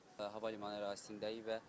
Hava limanı ərazisindəyik.